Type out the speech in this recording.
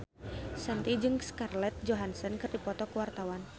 Shanti jeung Scarlett Johansson keur dipoto ku wartawan